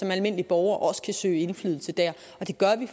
almindelig borger også kan søge indflydelse der